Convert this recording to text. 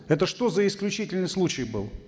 это что за исключительный случай был